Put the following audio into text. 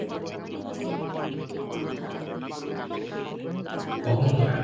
অহঙ্কার